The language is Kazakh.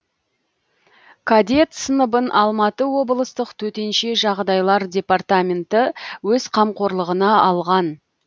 кадет сыныбын алматы облыстық төтенше жағдайлар департаменті өз қамқорлығына алған